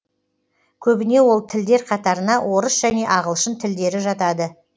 көбіне ол тілдер қатарына орыс және ағылшын тілдері жатады